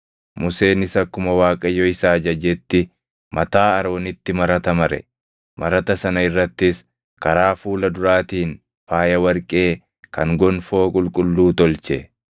Museenis akkuma Waaqayyo isa ajajetti mataa Aroonitti marata mare; marata sana irrattis karaa fuula duraatiin faaya warqee kan gonfoo qulqulluu tolche.